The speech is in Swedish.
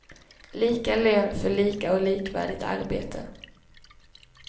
Lika lön för lika och likvärdigt arbete.